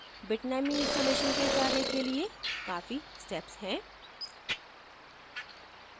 bitnami installation के कार्य के लिए काफी steps हैं